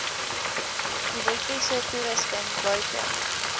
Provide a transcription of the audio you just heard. elektriese toerusting buite